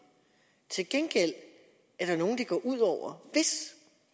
til gengæld er der nogen det går ud over hvis